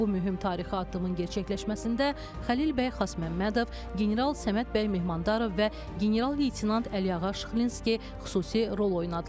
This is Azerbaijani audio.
Bu mühüm tarixi addımın gerçəkləşməsində Xəlil bəy Xasməmmədov, general Səməd bəy Mehmandarov və general-leytenant Əliağa Şıxlinski xüsusi rol oynadılar.